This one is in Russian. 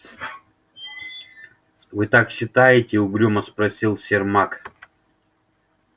вы так считаете угрюмо спросил сермак